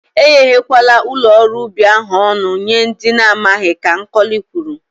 E ghewe kwala ụlọ ọrụ ubi ahụ ọnụ nye ndị ana amaghị, Ka Nkọli kwuru.